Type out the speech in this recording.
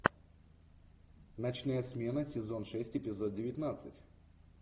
ночная смена сезон шесть эпизод девятнадцать